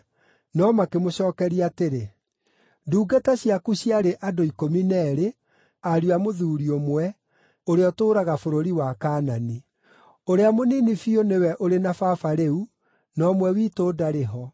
No makĩmũcookeria atĩrĩ, “Ndungata ciaku ciarĩ andũ ikũmi na eerĩ, ariũ a mũthuuri ũmwe, ũrĩa ũtũũraga bũrũri wa Kaanani. Ũrĩa mũnini biũ nĩwe ũrĩ na baba rĩu, na ũmwe witũ ndarĩ ho.”